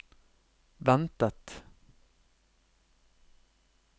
ventet